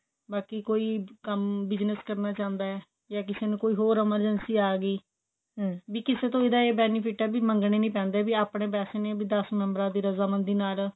ਬਾਕੀ ਕੋਈ ਕੰਮ business ਕਰਨਾ ਚਾਹੰਦਾ ਜਾ ਕਿਸੇ ਨੂੰ ਕੋਈ ਹੋਰ emergency ਆ ਗਈ ਵੀ ਕਿਸੇ ਤਰ੍ਹਾਂ ਦਾ ਇਹ benefit ਹੈ ਵੀ ਮੰਗਣੇ ਨਹੀਂ ਪੈਂਦੇ ਵੀ ਆਪਣੇ ਪੈਸੇ ਨੇ ਦਸ member ਆ ਦੀ ਰਜ਼ਾ ਮੰਦੀ ਨਾਲ